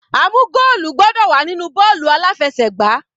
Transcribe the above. A mú goolu gbọ́dọ̀ wà nínú bọ́ọ̀lù aláfẹsẹ̀gbá.